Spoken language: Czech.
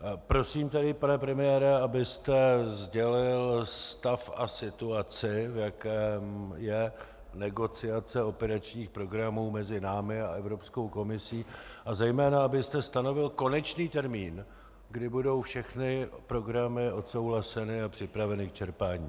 Prosím, tedy pane premiére, abyste sdělil stav a situaci, v jaké je negociace operačních programů mezi námi a Evropskou komisí, a zejména abyste stanovil konečný termín, kdy budou všechny programy odsouhlaseny a připraveny k čerpání.